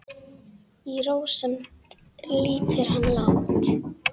Í rósemd lýtur hann lágt.